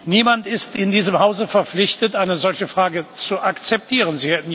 Niemand ist in diesem Hause verpflichtet, eine solche Frage zu akzeptieren.